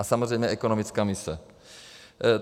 A samozřejmě ekonomická mise.